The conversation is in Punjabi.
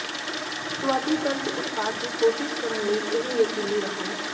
ਸੁਆਦੀ ਤਰਜ ਉਤਪਾਦ ਦੀ ਕੋਸ਼ਿਸ਼ ਕਰਨ ਲਈ ਇਹ ਯਕੀਨੀ ਰਹੋ